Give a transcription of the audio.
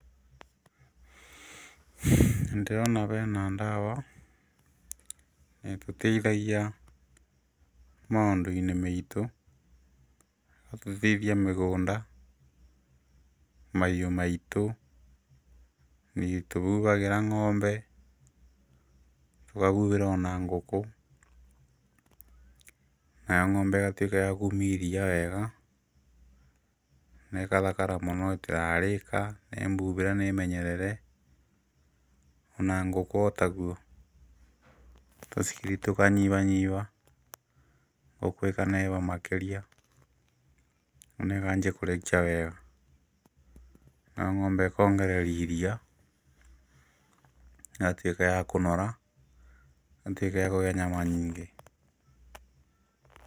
Nĩndĩrona bena ndawa, ĩtũteithagia maũndũ-inĩ meitũ, ĩgatũteithia mĩgũnda, mahiũ maitũ, nĩtũbubagĩra ng’ombe, tũkabubĩra ona ngũkũ, nayo ng’ombe igatuĩka ya kumia iria wega, nekathakara mũno ĩtĩrarĩka nĩ mbubire nĩ menyerere, ona ngũkũ o taguo, tũcibi tũkanyibanyiba, ngũkũ ĩkaneneba makĩria, ona ĩkanjia kũrekia wega, nayo ng’ombe ĩkongereri iria, ĩgatuĩka ya kũnora, ĩgatuĩka ya kũgĩa nyama nyingĩ.